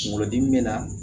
Kunkolodimi bɛ na